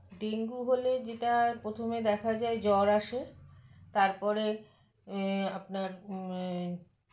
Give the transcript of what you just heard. dengue হলে যেটা প্রথমে দেখা যায় জ্বর আসে তারপরে এ আপনার মএ